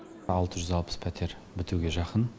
алты жүз алпыс пәтер бітуге жақын